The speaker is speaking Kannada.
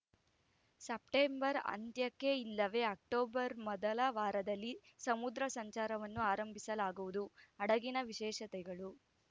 ಸಪ್ಟೆಂಬರ್‌ ಅಂತ್ಯಕ್ಕೆ ಇಲ್ಲವೇ ಅಕ್ಟೋಬರ್‌ ಮೊದಲ ವಾರದಲ್ಲಿ ಸಮುದ್ರ ಸಂಚಾರವನ್ನು ಆರಂಭಿಸಲಾಗುವುದು ಹಡಗಿನ ವಿಶೇಷತೆಗಳು